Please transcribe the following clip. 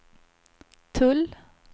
tull